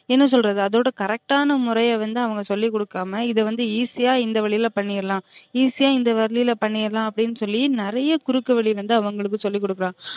என்ன சொல்றது அதோட correct டான முறைய வந்து அவுங்க சொல்லி குடுக்காம இதவந்து easy யா இந்த வழில பண்ணிறலாம் easy யா இந்த வழில பண்ணியறலாம் அப்டினு சொல்லி நிறையா குறுக்குவழி வந்து அவுங்களுக்கு சொல்லி கொடுக்குறாங்க